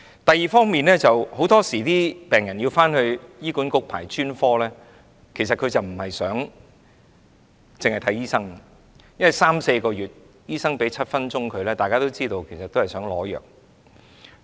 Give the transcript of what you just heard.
第二方面，很多時病人到醫管局輪候專科服務，並非單單為看醫生，因為等候三四個月才獲醫生診症7分鐘；大家都知道，其實他們是要取藥。